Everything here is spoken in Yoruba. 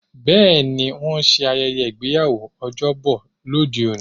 Bẹẹni, wón ń ṣe ayẹyẹ ìgbéyàwó l'ojobo lóde-òní.